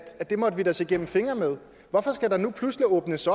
det måtte vi da se gennem fingre med hvorfor skal der nu pludselig åbnes